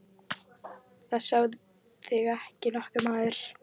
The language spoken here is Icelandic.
Það sá þig ekki nokkur maður!